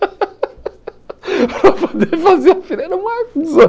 Para poder fazer a fila, era uma confusão.